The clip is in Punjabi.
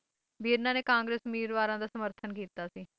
ਵੀ ਇਨ੍ਹਾਂ ਨੇ ਕਾਰਗਰਸ ਉਮ੍ਮੀਦਵਾਰਾਂ ਦਾ ਸਮਰਥਨ ਕੀਤਾ ਸੀ